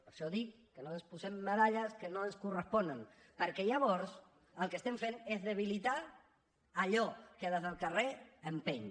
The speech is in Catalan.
per això dic que no ens posem medalles que no ens corresponen perquè llavors el que estem fent és debilitar allò que des del carrer empeny